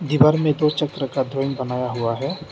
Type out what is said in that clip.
दीवार में दो चक्र का ड्राइंग बनाया हुआ है।